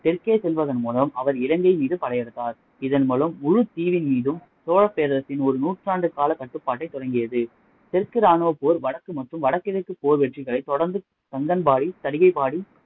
தெற்கே செல்வதன் மூலம் அவர் இலங்கையின் மீது படையெடுத்தார் இதன் மூலம் முழுத்தீவின் மீதும் சோழப்பேரரசின் ஒரு நூற்றாண்டு கால கட்டுப்பாட்டை தொடங்கியது தெற்கு ராணுவப்போர் வடக்கு மற்றும் வடகிழக்கில் வெற்றிகளைத் தொடர்ந்து கங்கபாடி, தடிகைபாடி,